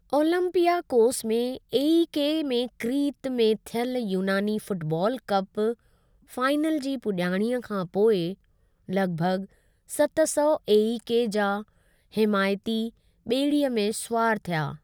Olympiacos ऐं AEK में Crete में थियलु यूनानी फुटबालु कप फाइनल जी पुॼाणीअ खां पोइ लॻिभॻि सत सौ एईके जा हिमायती ॿेड़ीअ मे सुवार थिया।